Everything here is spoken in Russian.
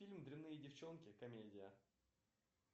фильм дрянные девчонки комедия